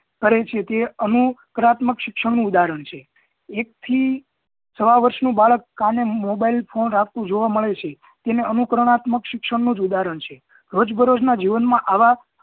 કરે છે તે અણુકરાત્મક શિક્ષણ નું ઉદાહરણ છે એક થી સાવ વરસ નું બાળક કાને mobile ફોને રાખતું જોવા મળે છે એને અનુકરણાત્મક શિક્ષણ નું જ ઉદાહરણ છે રોજબરોજ ના જીવન માં આવા